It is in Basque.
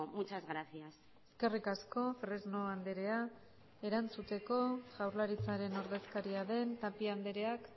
muchas gracias eskerrik asko fresno andrea erantzuteko jaurlaritzaren ordezkaria den tapia andreak